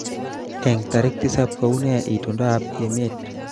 Eng tarik tisab kounee itondoab emet